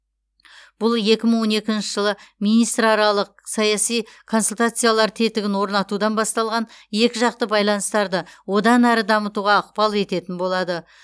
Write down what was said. бұл екі мың он екінші жылы министраралық саяси консультациялар тетігін орнатудан басталған екіжақты байланыстарды одан әрі дамытуға ықпал ететін болады